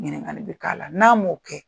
Ɲininkali bi k'a la, n'a m'o kɛ